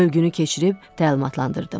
Bölgünü keçirib təlimatlandırdım.